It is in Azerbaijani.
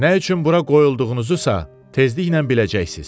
Nə üçün bura qoyulduğunuzu isə tezliklə biləcəksiniz.